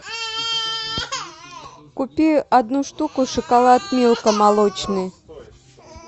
купи одну штуку шоколад милка молочный